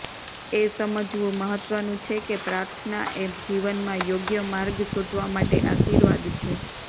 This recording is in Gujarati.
એ સમજવું મહત્વનું છે કે પ્રાર્થના એ જીવનમાં યોગ્ય માર્ગ શોધવા માટે આશીર્વાદ છે